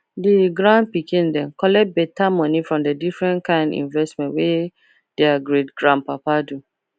the grand pikin dem collect better money from the different kind investment wey their greatgrandpapa do